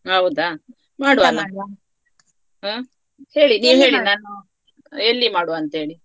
ಹಾ ಹೌದಾ ಮಾಡುವ ಅಲ್ಲ ಹ್ಮ್‌ ಹೇಳಿ ನೀವು ಹೇಳಿ ನಾನು ಎಲ್ಲಿ ಮಾಡುವಂತ ಹೇಳಿ.